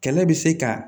Kɛlɛ bɛ se ka